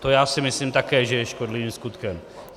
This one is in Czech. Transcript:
To já si myslím také, že je škodlivým skutkem.